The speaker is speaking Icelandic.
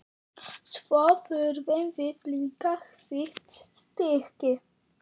Svo þurfum við líka hvítt stykki.